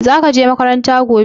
Zaka je makaranta gobe?